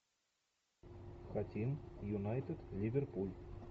хотим юнайтед ливерпуль